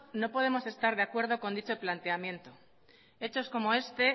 no podemos estar de acuerdo con dicho planteamiento hechos como este